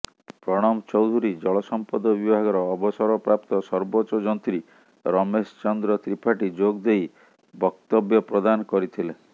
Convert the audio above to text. ପ୍ରଣବ ଚୌଧୁରୀ ଜଳସମ୍ପଦ ବିଭାଗର ଅବସରପ୍ରାପ୍ତ ସର୍ବୋଚ୍ଚ ଯନ୍ତ୍ରୀ ରମେଶ ଚନ୍ଦ୍ର ତ୍ରିପାଠୀ ଯୋଗଦେଇ ବକ୍ତବ୍ୟ ପ୍ରଦାନ କରିଥିଲେ